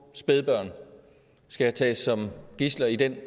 spædbørn skal tages som gidsler i den